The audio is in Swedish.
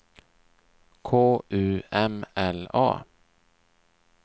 K U M L A